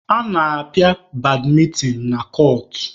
A na-apịa badmịntịn na kọọtụ.